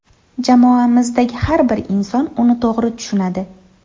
Jamoamizdagi har bir inson uni to‘g‘ri tushunadi.